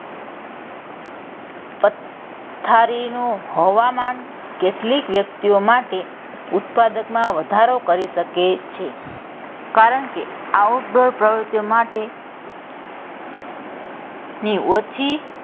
થારીનું હવામાન કેટલીક વ્યક્તિઓ માટે ઉત્પાદકમાં વધારો કરી શકે છે કારણ કે outdoor પ્રવૃતિઓ માટે ની ઓછી,